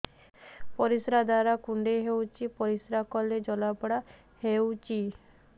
ପରିଶ୍ରା ଦ୍ୱାର କୁଣ୍ଡେଇ ହେଉଚି ପରିଶ୍ରା କଲେ ଜଳାପୋଡା ହେଉଛି